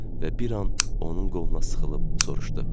və bir an onun qoluna sıxılıb soruşdu: